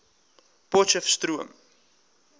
potcheftsroom